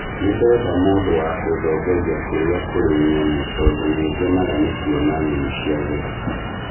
Nĩ ndenda mũndũ wa kũndongoria kũrĩa kũrĩ nyamũ tondũ nĩ ngenaga nĩ kuona nyamũ cia gĩthaka